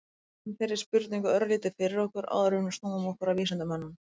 veltum þeirri spurningu örlítið fyrir okkur áður en við snúum okkur að vísindamönnunum